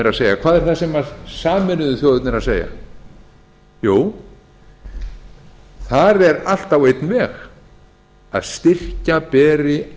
að segja hvað er það sem sameinuðu þjóðirnar eru að segja jú þar er allt á einn veg að styrkja beri